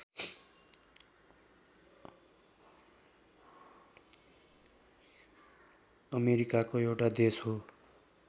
अमेरिकाको एउटा देश हो